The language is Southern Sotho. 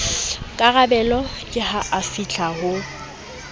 karabelo ke ha afihla ho